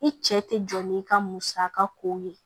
I cɛ tɛ jɔ n'i ka musaka ko ye